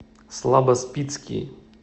слабоспицкий